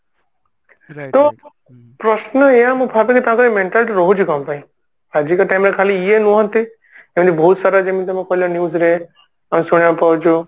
ତ ପ୍ରଶ୍ନ ଏୟା ମୁଁ ଭାବେ ଯେ ତାଙ୍କର ଏୟା mentality ରହୁଛି କଣ ପାଇଁ ଆଜିକା time ରେ ଖାଲି ଇଏ ନୁହନ୍ତି ଏମତି ବହୁତ ସାରା ଯେମିତି ତମେ କହିଲ news ରେ ଶୁଣିବାକୁ ପାଉଛୁ